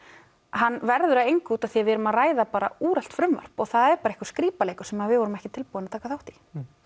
hann verður að engu út af því að við erum að ræða bara úrelt frumvarp og það er bara einhver skrípaleikur sem við vorum ekki tilbúin að taka þátt í